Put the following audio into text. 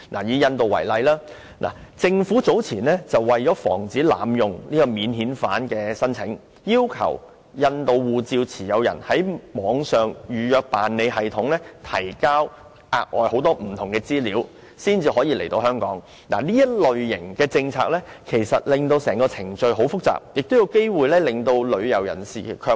以印度為例，香港政府早前為防止濫用免遣返聲請，要求印度護照持有人必須在網上預辦登記系統提交很多額外資料才可來港，這類政策使程序變得複雜，亦有機會令旅遊人士卻步。